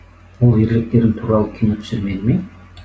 ол ерліктерің туралы кино түсірмеді ме